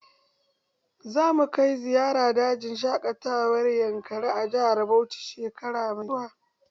Za mu kai ziyara dajin shaƙatawar yankari a jihar Bauchi shekara mai zuwa